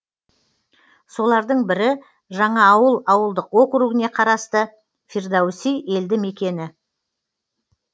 солардың бірі жаңаауыл ауылдық округіне қарасты фирдоуси елді мекені